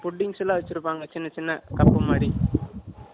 puddings லாம் வச்சியிருப்பாங்க சின்ன சின்ன cup மாதிரி